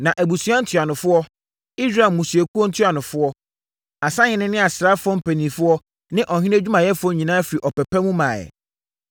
Na abusua ntuanofoɔ, Israel mmusuakuo ntuanofoɔ, asahene ne asraafoɔ mpanimfoɔ ne ɔhene adwumayɛfoɔ nyinaa firii ɔpɛ pa mu maeɛ.